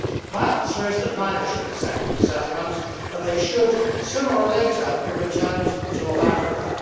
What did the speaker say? My answer is that neither should accept them for settlement and they should sooner or later be returned to North Africa.